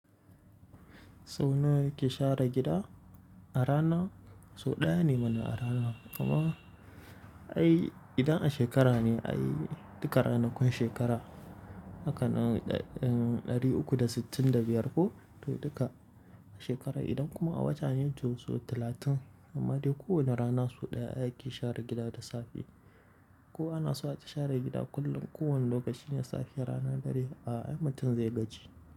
Sau nawa yake share gida? A rana sau ɗaya ne mana a rana, amma, ai idan a shekara ne ai duka ranakun shekara, hakan ɗari uku da sittin da biyar ko to duka shekara. Idan kuma a wata ne to sau talatin, amma dai kowane rana sau ɗaya ake share gida da safe. Ko ana so ai ta share gida kullum, kowane lokacin da ya safe rana ɗari a, ai mutun zai gaji.